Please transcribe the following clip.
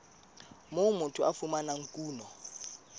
moo motho a fumanang kuno